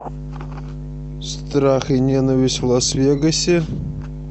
страх и ненависть в лас вегасе